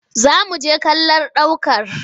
Za mu je kallon ɗ aukar